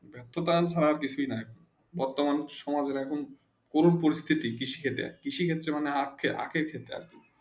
ব্যক্ত দান ছাড়া কিছু নেই বর্তমান সময়ে কোনো প্রশিতি কৃষি কে দিয়ে কৃষি ক্ষেত্রে মানে আঁখে আঁখে দে